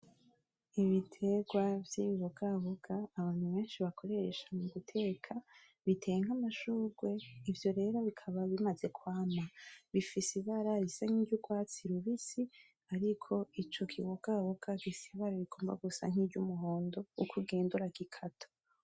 Ibiterwa vyibibogaboga abantu benshi bakoresha muguteka biteye nk'amashurwe ivyo rero bikaba bimaze kwama, bifise ibara risa nkiry'urwatsi rubisi ariko ico kibogaboga gifise ibara rigomba gusa nk'iryumuhondo uko ugenda uragikata.